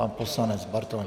Pan poslanec Bartoň.